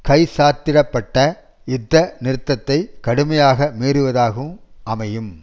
கைச்சாத்திட பட்ட யுத்த நிறுத்தத்தை கடுமையாக மீறுவதாக அமையும்